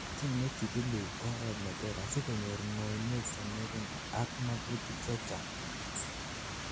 chengei chikilik oret neter asikonyor ngoinwek chengering ak magutik chechang